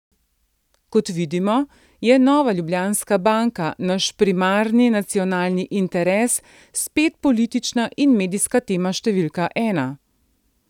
Kot vidimo, je Nova Ljubljanska banka, naš primarni nacionalni interes, spet politična in medijska tema številka ena.